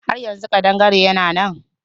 Har yanzu ƙadangare yana nan?